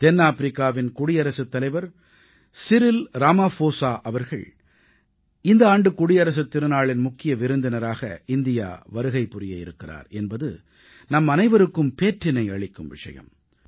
தென்னாப்பிரிக்காவின் குடியரசுத்தலைவர் Cyril Ramaphosa அவர்கள் இந்த ஆண்டு குடியரசுத் திருநாளின் முக்கிய விருந்தினராக இந்தியா வருகை புரிய இருக்கிறார் என்பது நம்மனைவருக்கும் பேற்றினை அளிக்கும் விஷயம்